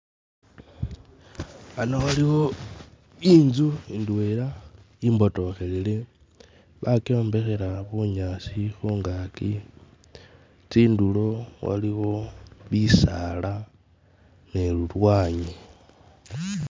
A NH o waliwo inzu indwela imbotokhelele , bakyombekhela bunyaasi khungaki, tsindulo waliwo bisaala ne lulwanyi